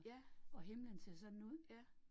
Ja. Ja